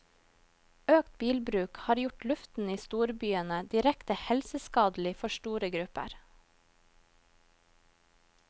Økt bilbruk har gjort luften i storbyene direkte helseskadelig for store grupper.